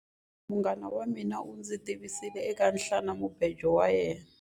Munghana wa mina u ndzi tivisile eka nhwanamubejo wa yena.